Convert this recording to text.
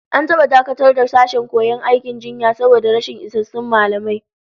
An taba dakatar da sashen koyon aikin jinya saboda rashin isassun mallamai